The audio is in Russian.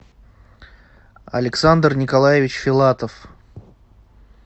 александр николаевич филатов